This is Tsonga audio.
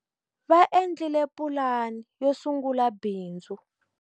Va endlile pulani yo sungula bindzu.